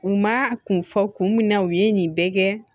U ma kun fɔ kun min na u ye nin bɛɛ kɛ